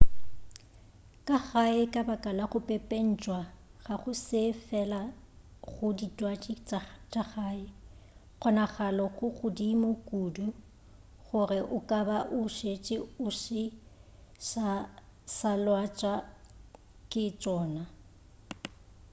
ka gae ka baka la go pepentšwa ga go se fela go ditwatši tša gae kgonagalo di godimo kudu gore o ka ba o šetše o se sa lwatša ke tšona